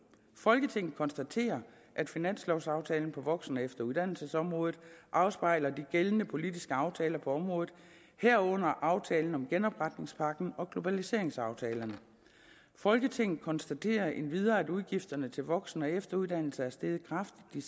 folketinget konstaterer at finanslovaftalen på voksen og efteruddannelsesområdet afspejler de gældende politiske aftaler på området herunder aftalen om genopretningspakken og globaliseringsaftalerne folketinget konstaterer endvidere at udgifterne til voksen og efteruddannelse er steget kraftigt de